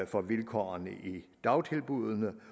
for vilkårene i dagtilbuddene